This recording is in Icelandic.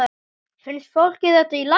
Finnst fólki þetta í lagi?